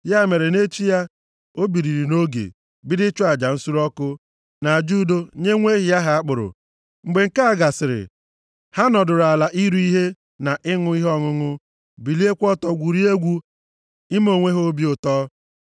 Ya mere na echi ya, ha biliri nʼoge, bido ịchụ aja nsure ọkụ, na aja udo, nye nwa ehi ahụ a kpụrụ akpụ. Mgbe nke a gasịrị, ha nọdụrụ ala iri ihe na ịṅụ ihe ọṅụṅụ, biliekwa ọtọ gwurie egwu ime onwe ha obi ụtọ.